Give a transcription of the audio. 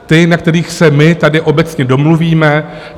Ty, na kterých se my tady obecně domluvíme.